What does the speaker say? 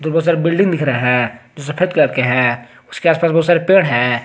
बहुत सारे बिल्डिंग दिख रहे हैं जो सफेद कलर के हैं उसके आस पास बहुत सारे पेड़ हैं।